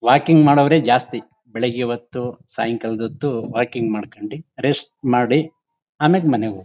Walking ಮಾಡೋವ್ರೆ ಜಾಸ್ತಿ ಬೆಳಿಗ್ಗೆ ಹೊತ್ತು ಸಾಯಂಕಾಲದ ಹೊತ್ತು ವಾಕಿಂಗ್ ಮಾಡ್ಕೊಂಡಿ ರೆಸ್ಟ್ ಮಾಡಿ ಆಮೇಲೆ ಮನೆಗೆ ಹೋಗ್ತಾರೆ.